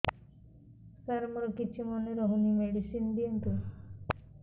ସାର ମୋର କିଛି ମନେ ରହୁନି ମେଡିସିନ ଦିଅନ୍ତୁ